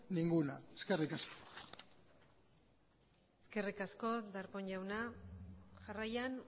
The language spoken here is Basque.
ninguna eskerrik asko eskerrik asko darpón jauna jarraian